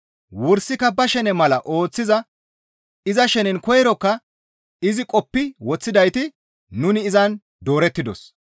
Wursika ba shene mala ooththiza iza shenen koyrokka izi qoppi woththidayti nuni izan doorettidos.